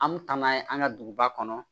An mi taa n'a ye an ka duguba kɔnɔ